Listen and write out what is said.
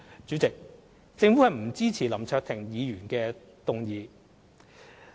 主席，政府不支持林卓廷議員的議案。